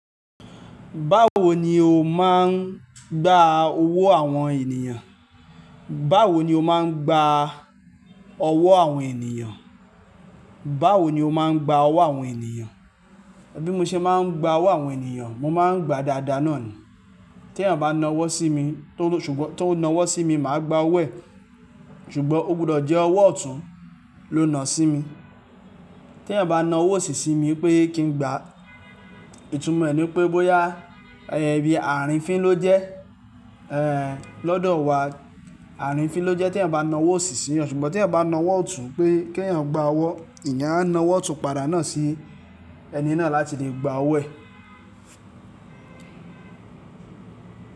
Báwo ni o máa ń gba owó àwọn ènìyàn? Báwo ni o máa ń gba ọwọ́ àwọn ènìyàn? Báwo ni o máa ń gba ọwọ́ àwọn ènìyàn? Bí mo ṣe máa ń gba owó àwọn ènìyàn, mo máa ń gba dada náà ni. Tí èèyàn bá na ọwọ́ sí mi, tó ṣùgbọ́n tó na ọwọ́ sí mi, màá gba ọwọ́ ẹ̀. Ṣùgbọ́n ó gbọdọ̀ jẹ́ ọwọ́ ọ̀tún ló na sí mi. Tí èèyàn bá na ọwọ́ ọ̀sì sí mi pé kí n gba, ìtumọ̀ ẹ̀ ni pé, bóyá ẹẹ ibi ààrín fín ló jẹ́, lọ́dọ̀ wa ààrín fín ló jẹ́ tí èèyàn bá na ọwọ́ ọ̀sì sí yan. Ṣùgbọ́n tí èèyàn bá na ọwọ́ ọ̀tún pé kí ẹ̀yàn gba ọwọ́, ènìyàn á na ọwọ́ ọ̀tún padà náà sí ẹni náà láti lè gba ọwọ́ ẹ̀.